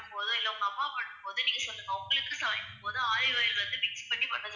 பண்ணும்போது, இல்ல உங்க அம்மா பண்ணும்போது நீங்க சொல்லுங்க உங்களுக்குன்னு சமைக்கும் போது olive oil வந்து mix பண்ணி